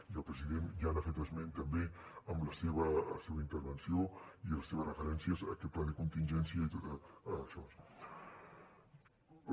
i el president ja n’ha fet esment també en la seva intervenció i les seves referències a aquest pla de contingència i tot això